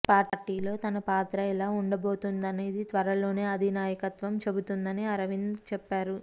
పార్టీలో తన పాత్ర ఎలా ఉండబోతోందనేది త్వరలోనే అధినాయకత్వం చెబుతుందని అరవింద్ చెప్పారు